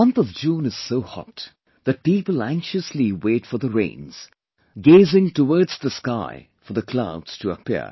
The month of June is so hot that people anxiously wait for the rains, gazing towards the sky for the clouds to appear